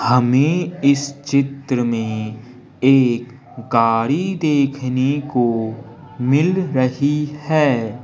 हमें इस चित्र में एक गाड़ी देखने को मिल रही है।